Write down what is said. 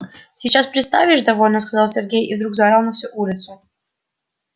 сейчас представишь довольно сказал сергей и вдруг заорал на всю улицу